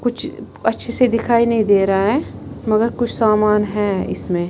कुछ अच्छे से दिखाई नहीं दे रहा है मगर कुछ सामान है इसमें--